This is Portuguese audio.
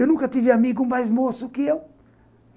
Eu nunca tive amigo mais moço que eu.